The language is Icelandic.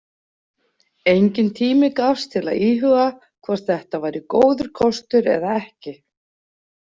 Enginn tími gafst til að íhuga hvort þetta væri góður kostur eða ekki.